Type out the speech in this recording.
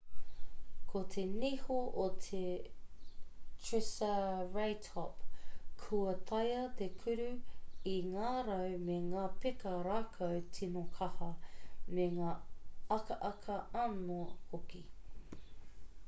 ko te niho o te triceratop kua taea te kuru i ngā rau me ngā peka rākau tīno kaha me ngā akaaka anō hoki